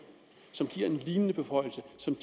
som